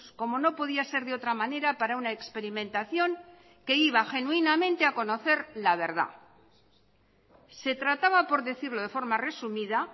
como no podía ser de otra manera para una experimentación que iba genuinamente a conocer la verdad se trataba por decirlo de forma resumida